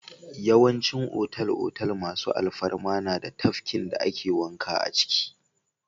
Yawancin otal-otal masu alfarma na da tafkin da ake wanka a ciki.